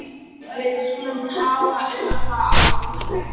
Við skulum tala um það á morgun